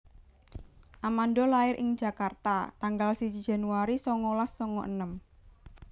Amanda lair ing Jakarta tanggal siji Januari songolas songo enem